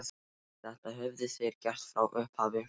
Þetta höfðu þeir gert frá upphafi